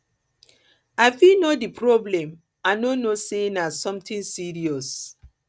i fit know di problem i no know say na something serious